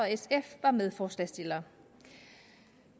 og medforslagsstillere